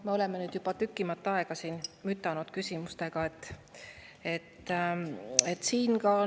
Me oleme nüüd juba tükimat aega siin küsimustega mütanud.